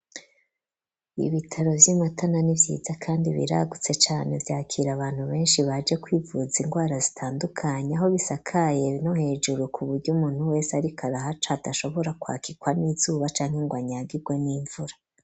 Ibitaro vy'imatana ni vyiza kandi biragutse cane vyakira abantu benshi baje kwivuza ingwara zitandukanye aho bisakaye no hejuru ku buryo umuntu wese arikarahaca adashobora kwakirwa n'izuba canke ngo anyagirwe n'imvura.